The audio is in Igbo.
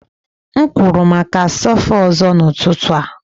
M kwụrụ maka sofa ọzọ n'ụtụtụ a.